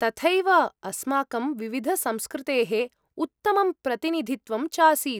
तथैव अस्माकं विविधसंस्कृतेः उत्तमं प्रतिनिधित्वम् चासीत्।